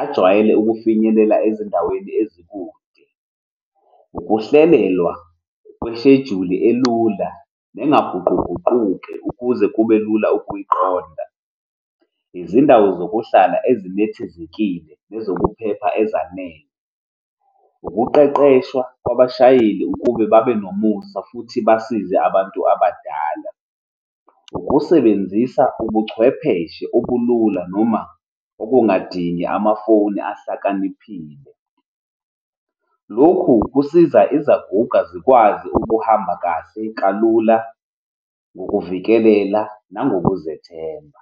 ajwayele ukufinyelela ezindaweni ezikude. Ukuhlelelwa kwesheduli elula nengaguquguquki, ukuze kube lula ukuyiqonda, izindawo zokuhlala enethezekile nezokuphepha ezanele, ukuqeqeshwa kwabashayeli ukube babe nomusa futhi basize abantu abadala, ukusebenzisa ubuchwepheshe obulula noma okungadingi amafoni ahlakaniphile. Lokhu kusiza izaguga zikwazi ukuhamba kahle, kalula, ngokuvikelela, nangokuzethemba.